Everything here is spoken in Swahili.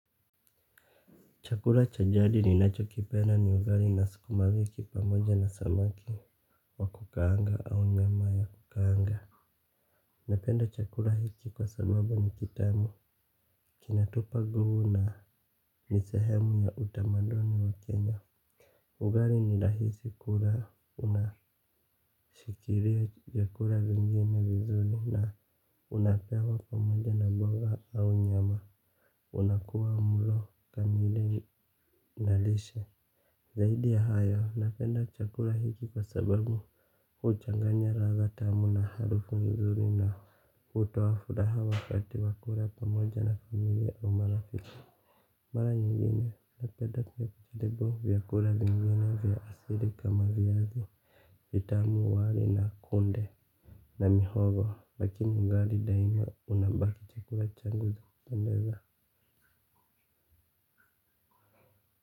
Chakura cha jadi ninacho kipenda ni ugali na sukuma wiki pamoja na samaki wa kukaanga au nyama ya kukaanga. Napenda chakula hiki kwa sababu ni kitamu. Kina tupa nguvu na ni sehemu ya utamaduni wa kenya. Ugali ni rahisi kula unashikilia vyakula vingine vizuri na unapewa pamoja na mboga au nyama. Unakuwa mulo kamili nalishe. Zaidi ya hayo, napenda chakula hiki kwa sababu huchanganya ladha tamu na harufu nzuri na hutoa furaha wakati wakula pamoja na familia au marafiki. Mara nyingine, napenda kuvitibu vyakula vingine vya asili kama vyazi, vitamu wali na kunde na mihogo, lakini ngari daima unabaki chakula changu cha kupendeza.